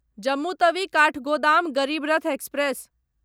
Jammu Tawi Kathgodam Garib Rath express